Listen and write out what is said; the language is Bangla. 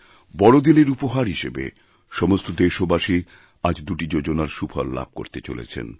বড়দিনের উপহার হিসেবে সমস্তদেশবাসী আজ দুটি যোজনার সুফল লাভ করতে চলেছেন